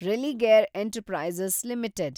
Religare enterprises limited